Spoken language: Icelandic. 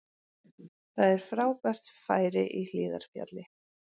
Það er frábært færi í Hlíðarfjalli